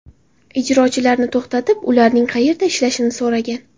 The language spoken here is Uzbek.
ijrochilarni to‘xtatib, ularning qayerda ishlashini so‘ragan.